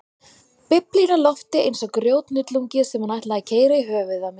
Biblíunni á lofti eins og grjóthnullungi sem hún ætlaði að keyra í höfuðið á mér.